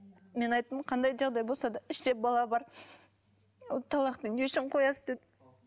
мен айттым қандай жағдай болса да іште бала бар ол талақты не үшін қоясыз дедім